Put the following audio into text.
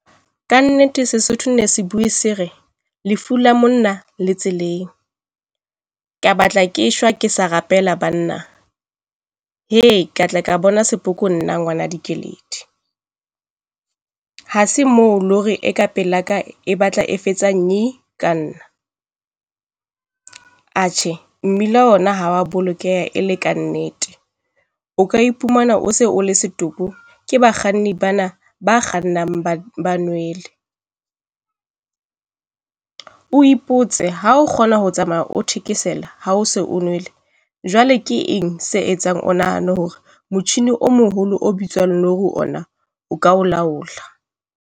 Ka nnete Sesotho ne se buwe se re lefu la monna le tseleng. Ke batla ke shwa ke sa rapela banna. Hee ka tla ka bona sepoko nna ngwana Dikeledi. Ha se moo lori e ka pelaka e batla e fetsa nnye ka nna. Atjhe mmila ona ha o a bolokeha le ka nnete o ka iphumana o se o le setopo ke bakganni bana ba kgannang ba nwele. O ipotse ha o kgona ho tsamaya o thekesela ha o se o nwele, jwale ke eng se etsang o nahane hore motjhini o moholo o bitswang lori ona o ka o laola?